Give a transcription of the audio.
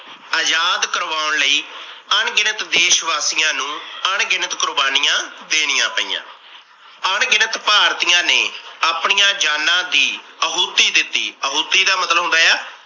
ਆਜ਼ਾਦ ਕਰਵਾਉਣ ਲਈ ਅਣਗਿਣਤ ਦੇਸ਼ ਵਾਸੀਆਂ ਨੂੰ ਅਣਗਿਣਤ ਕੁਰਬਾਨੀਆਂ ਦੇਣੀਆਂ ਪਈਆਂ । ਅਣਗਿਣਤ ਭਾਰਤੀਆਂ ਨੇ ਆਪਣੀਆਂ ਜਾਨਾਂ ਦੀ ਅਹੁਤੀ ਦਿਤੀ ਅਹੁਤੀ ਦਾ ਮਤਲਬ ਹੁੰਦਾ ਆ